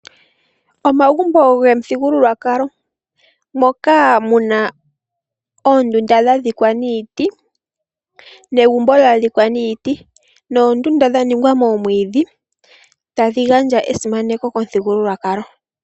Omagumbo gomuthigululwakalo moka muna oondunda dha dhikwa niiti negumbo lya dhikwa niiti noondunda dha ningwa moomwiidhi tadhi gandja esimaneko komuthigululwakalo .